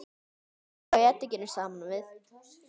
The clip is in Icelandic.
Helltu þá edikinu saman við.